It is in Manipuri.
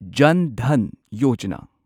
ꯖꯟ ꯙꯟ ꯌꯣꯖꯥꯅꯥ